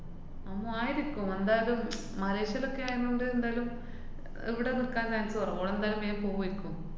ഉം ആയിരിക്കും. എന്തായാലും മലേഷ്യേലൊക്കെ ആയകൊണ്ട് ന്തായാലും ഇവിടെ നിക്കാന്‍ chance കൊറവാണ്. ഓളെന്തായാലും പിന്നെ പോവേര്ക്കും.